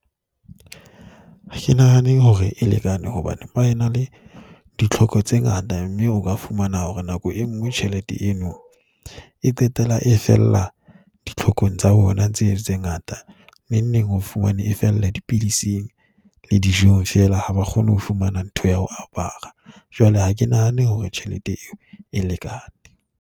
Ha ke nahane hore e lekane hobane ba ena le ditlhoko tse ngata mme o ka fumana hore nako e nngwe tjhelete eno e qetella e fella ditlhokong tsa bona tseo tse ngata. Nengbeng o fumane e fella dipidising le dijong feela. Ha ba kgone ho fumana ntho ya ho apara. Jwale ha ke nahane hore tjhelete eo e lekane.